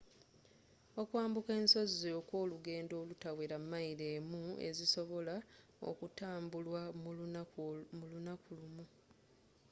okwambuka ensozi okwolugendo olutawera mayiro emu ezisobola okutambulwa mu lunaku lumu